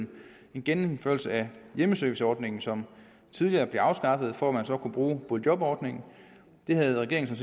en genindførelse af hjemmeserviceordningen som tidligere blev afskaffet for at man så kunne bruge boligjobordningen det havde regeringen